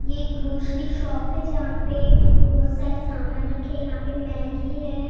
ये grocery shop है जहाँ पे बहुत सारे सामान रखे यहाँ पे मैगी है।